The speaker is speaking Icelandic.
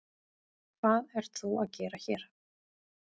Hvað ert þú að gera hér?